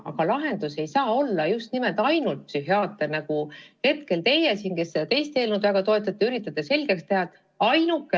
Aga lahendus ei saa olla ainult psühhiaater, nagu hetkel teie, kes te seda teist eelnõu väga toetate, üritate selgeks teha.